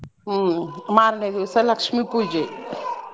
ಹ್ಮ್ ಮಾರ್ನೆ ದಿವ್ಸ ಲಕ್ಷ್ಮೀ ಪೂಜೆ Babble.